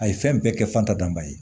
A ye fɛn bɛɛ kɛ fantan ye